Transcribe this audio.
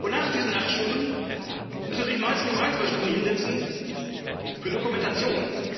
Nach diesen acht Stunden kann sie sich meist noch ein, zwei Stunden hinsetzen für Dokumentation.